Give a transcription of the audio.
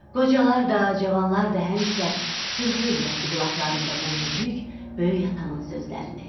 Qocalar da, cavanlar da həmişə sırğa eləyərdi qulaqlarında bu müdrik, böyük atanın sözlərini.